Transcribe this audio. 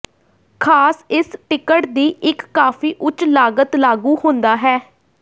ਖਾਸ ਇਸ ਟਿਕਟ ਦੀ ਇੱਕ ਕਾਫ਼ੀ ਉੱਚ ਲਾਗਤ ਲਾਗੂ ਹੁੰਦਾ ਹੈ